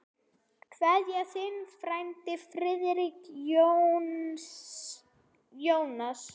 Kveðja, þinn frændi Friðrik Jónas.